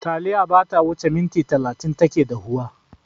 Taliya bata wuce minti talatin take dahuwa.